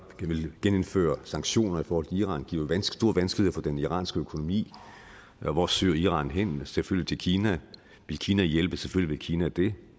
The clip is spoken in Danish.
vil genindføre sanktioner mod iran giver store vanskeligheder for den iranske økonomi hvor søger iran hen selvfølgelig til kina vil kina hjælpe selvfølgelig vil kina det